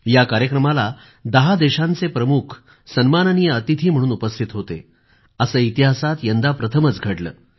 या कार्यक्रमाला दहा देशांचे प्रमुख सन्माननीय अतिथी उपस्थित होते असं इतिहासात यंदा प्रथमच घडलं